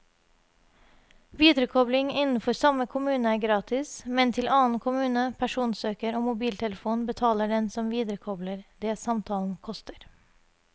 Viderekobling innenfor samme kommune er gratis, men til annen kommune, personsøker og mobiltelefon betaler den som viderekobler det samtalen koster.